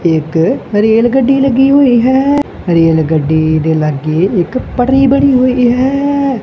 ਇੱਕ ਰੇਲਗੱਡੀ ਲੱਗੀ ਹੋਈ ਹੈ ਰੇਲਗੱਡੀ ਦੇ ਲੱਗੇ ਇੱਕ ਪਟਰੀ ਬਣੀ ਹੋਈ ਹੈ।